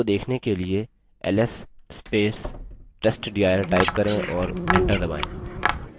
उनको देखने के लिए ls testdir type करें और enter दबायें